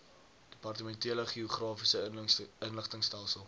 departementele geografiese inligtingstelsel